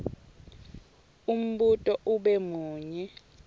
umbuto ube munye